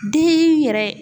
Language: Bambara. Den yɛrɛ